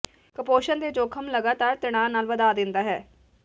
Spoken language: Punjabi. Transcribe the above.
ਕੁਪੋਸ਼ਣ ਦੇ ਜੋਖਮ ਲਗਾਤਾਰ ਤਣਾਅ ਨਾਲ ਵਧਾ ਦਿੰਦਾ ਹੈ